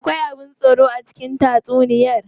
Akwai abin tsoro a cikin tatsuniyar?